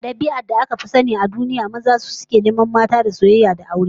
A dabi'ar da aka fi sani a duniya, maza su sukan nemi mata da soyayya da aure